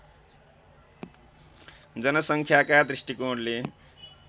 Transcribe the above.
जनसङ्ख्याका दृष्टिकोणले